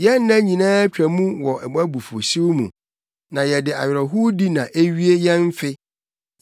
Yɛn nna nyinaa twa mu wɔ wʼabufuwhyew mu; na yɛde awerɛhowdi na ewie yɛn mfe.